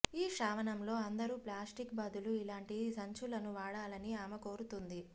ఈ శ్రావణంలో అందరూ ప్లాస్టిక్ బదులు ఇలాంటి సంచులను వాడాలని ఆమె కోరుతోంది